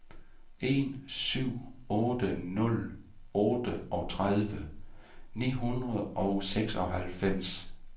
en syv otte nul otteogtredive ni hundrede og seksoghalvfems